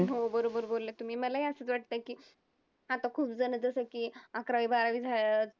हो बरोबर बोलले तुम्ही. मलाही असंच वाटतंय की आता खूपजणं जसं की अकरावी बारावी